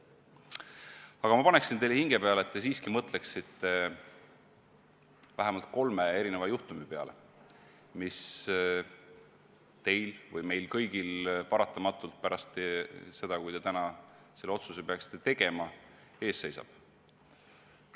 Aga ma panen teile hinge peale, et te siiski mõtleksite vähemalt kolmele juhtumile, mis teil või meil kõigil paratamatult pärast seda, kui te täna selle otsuse peaksite tegema, ees seisab.